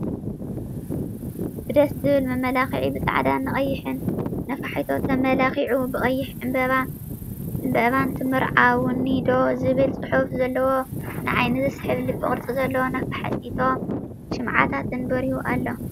ብደስ ዝብል መመላክዒ ብፃዕዳ ን ቀይሕን ነፋሒቶ ተመላኪዑ ብቀይሕ ዕምበባ ን ትምርዓውኒ ዶ ዝብል ፅሑፍ ዘለዎ ንዓይኒ ዝስሕብ ልቢ ቅርፂ ዘለዎ ነፋሒቶ ሽምዓታት በሪሁ ኣሎ።